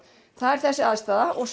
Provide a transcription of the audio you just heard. það er þessi aðstaða og